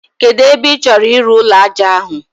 Kedụ ebe ị chọrọ ịrụ ụlọ ájá ahụ?